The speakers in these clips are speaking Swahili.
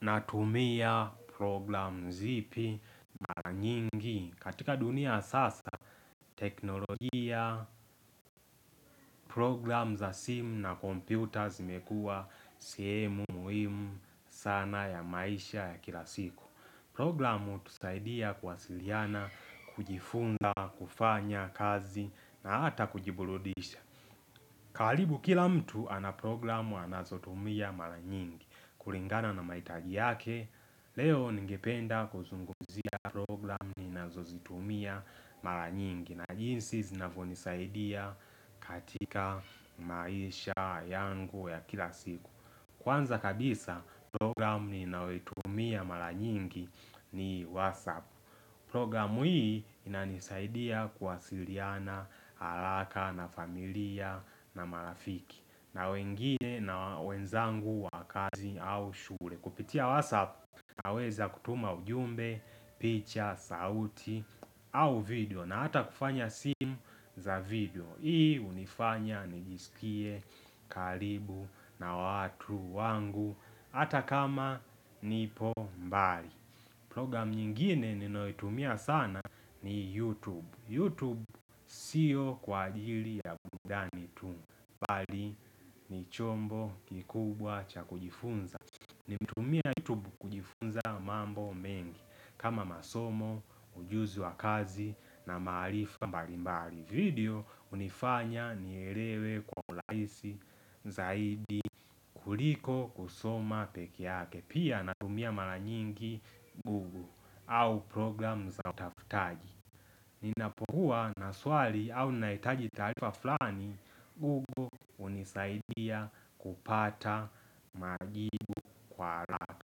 Natumia program zipi mara nyingi katika dunia ya sasa teknolojia, program za simu na kompyuta zimekuwa sehemu muhimu sana ya maisha ya kila siku Programu hutusaidia kuwasiliana, kujifunza, kufanya kazi na hata kujiburudisha karibu kila mtu ana programu anazo tumia mara nyingi Kuringana na mahitaji yake Leo ningependa kuzungumzia program ninazozitumia mara nyingi na jinsi zinavonisaidia katika maisha yangu ya kila siku Kwanza kabisa program ninaoitumia mara nyingi ni WhatsApp Program hii inanisaidia kuwasiriana haraka na familia na marafiki na wengine na wenzangu wa kazi au shure Kupitia WhatsApp naweza kutuma ujumbe, picture, sauti au video na hata kufanya simu za video Hii hunifanya nijisikie karibu na watu wangu hata kama nipo mbali Program nyingine ninoyoitumia sana ni YouTube, YouTube sio kwa ajili ya burudani tu bali ni chombo kikubwa cha kujifunza nimetumia YouTube kujifunza mambo mengi kama masomo, ujuzi wa kazi na maarifa mbalimbali video unifanya nierewe kwa ulaisi zaidi kuliko kusoma pekeake Pia natumia mara nyingi Google au program za utafutaji Ninapokuwa na swali au nahitaji taarifa flani Google hunisaidia kupata majibu kwa haraka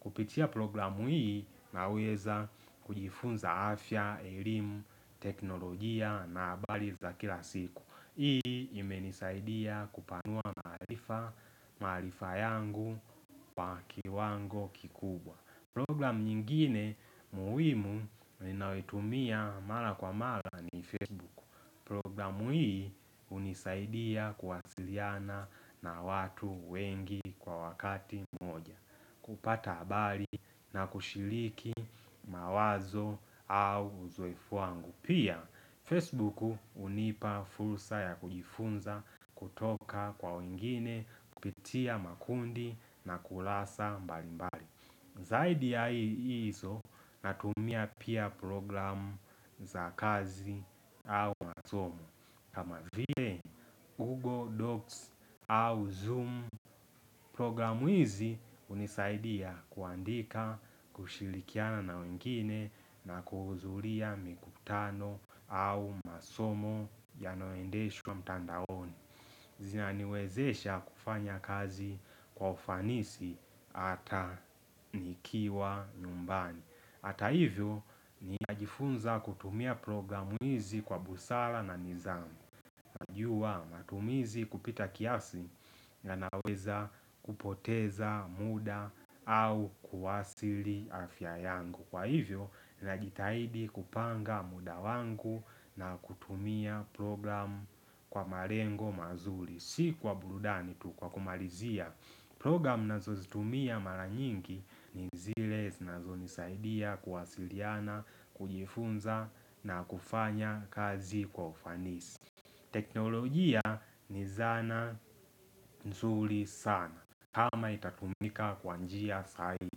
Kupitia programu hii naweza kujifunza afya, elimu, teknolojia na habari za kila siku Hii imenisaidia kupanua maarifa yangu kwa kiwango kikubwa Programu nyingine muhimu ninayoitumia mara kwa mara ni Facebook Programu hii hunisaidia kuwasiliana na watu wengi kwa wakati hupata habari na kushiriki mawazo au uzoefu wangu Pia Facebook hunipa fursa ya kujifunza kutoka kwa wengine kupitia makundi na kulasa mbali mbali Zaidi ya hizo natumia pia programu za kazi au masomo. Kama vile Google Docs au Zoom programu hizi hunisaidia kuandika, kushirikiana na wengine na kuhudhulia mikutano au masomo yanoendeshwa mtandaoni. Zinaniwezesha kufanya kazi kwa ufanisi ata nikiwa nyumbani ata hivyo ninajifunza kutumia programu hizi kwa busala na nidhamu Najua matumizi kupita kiasi na naweza kupoteza muda au kuathili afya yangu Kwa hivyo, najitahidi kupanga muda wangu na kutumia program kwa marengo mazuri Si kwa burudani tu kwa kumalizia Program ninazozitumia mara nyingi ni zile zinazonisaidia kuwasiliana, kujifunza na kufanya kazi kwa ufanisi teknolojia ni zana nzuri sana kama itatumika kwa njia sahihi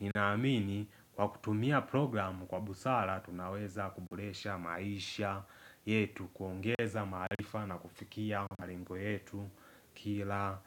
Ninaamini kwa kutumia programu kwa busara tunaweza kuboresha maisha yetu kuongeza maarifa na kufikia marengo yetu kila.